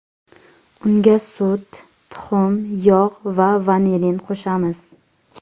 Unga sut, tuxum, yog‘ va vanilin qo‘shamiz.